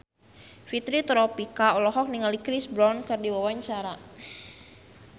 Fitri Tropika olohok ningali Chris Brown keur diwawancara